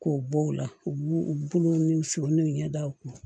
K'o bɔ o la u b'u u bolo ni sogo ni ɲɛ da u kun